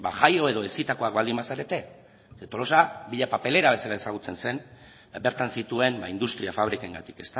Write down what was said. jaio edo hezitakoak baldin bazarete zeren tolosa villa papelera bezala ezagutzen zen bertan zituen industria fabrikengatik